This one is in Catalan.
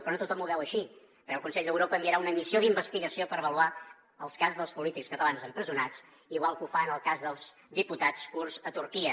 però no tothom ho veu així perquè el consell d’europa enviarà una missió d’investigació per avaluar el cas dels polítics catalans empresonats igual que ho fa en el cas dels diputats kurds a turquia